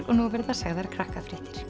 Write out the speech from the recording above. og nú verða sagðar